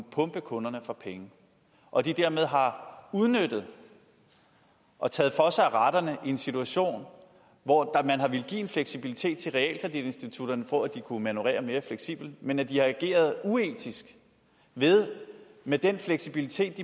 pumpe kunderne for penge og dermed har udnyttet og taget for sig af retterne i en situation hvor man har villet give en fleksibilitet til realkreditinstitutterne for at de kunne manøvrere mere fleksibelt men at de har ageret uetisk ved med den fleksibilitet